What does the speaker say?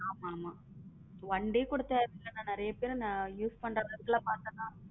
ஆமா ஆமா one day கூட தேவையில்லை நிறைய பேரு use பண்ற விதத்தை பார்த்தா.